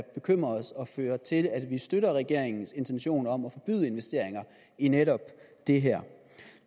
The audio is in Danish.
bekymrer os og fører til at vi støtter regeringens intention om at forbyde investeringer i netop det her